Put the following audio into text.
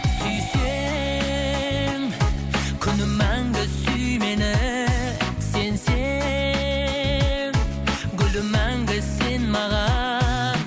сүйсең күнім мәңгі сүй мені сенсең гүлім мәңгі сен маған